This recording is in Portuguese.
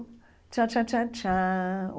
Tchan, tchan, tchan, tchan.